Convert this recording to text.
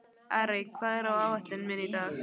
Arey, hvað er á áætluninni minni í dag?